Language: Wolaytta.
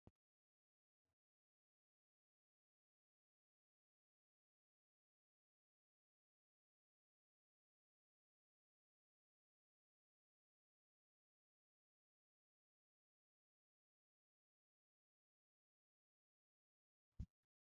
Santtaa giyoogee puutiyaa tokkin woykko ayfiyaa zerin mokkiyaa katta qommo a be'iyo wode taayyo qopettiyay nu luxetta keettan kahuwaa miyoogaa. I immiyo go'aykka taayyo qopettees.